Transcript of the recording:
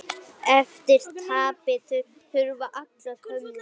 Eftir tapið hurfu allar hömlur.